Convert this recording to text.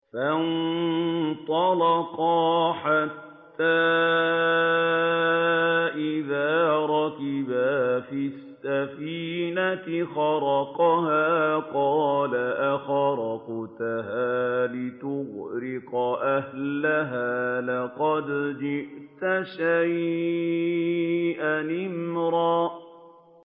فَانطَلَقَا حَتَّىٰ إِذَا رَكِبَا فِي السَّفِينَةِ خَرَقَهَا ۖ قَالَ أَخَرَقْتَهَا لِتُغْرِقَ أَهْلَهَا لَقَدْ جِئْتَ شَيْئًا إِمْرًا